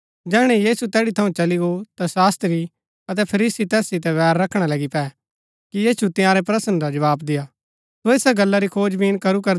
जैहणै यीशु तैठी थऊँ चली गो ता शास्त्री अतै फरीसी तैस सितै बैर रखणा लगी पै कि यीशु तंयारै प्रश्‍ना रा जवाव देआ